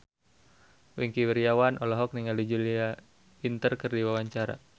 Wingky Wiryawan olohok ningali Julia Winter keur diwawancara